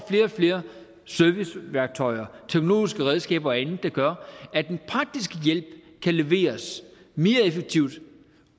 flere serviceværktøjer teknologiske redskaber og andet der gør at den praktiske hjælp kan leveres mere effektivt